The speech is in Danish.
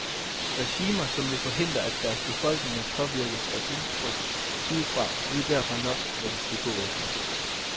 Regimer som vil forhindre, at deres befolkninger påvirkes af indtryk udefra, ved derfor nok, hvad de skal gå efter.